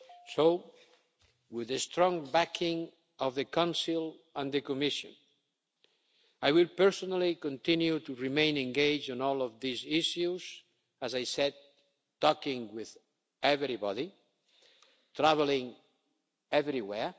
in that. So, with the strong backing of the Council and the Commission, I will personally continue to remain engaged in all of these issues, as I said, talking with everybody and travelling everywhere.